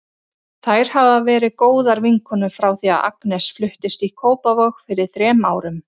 Þær hafa verið góðar vinkonur frá því að Agnes fluttist í Kópavog fyrir þrem árum.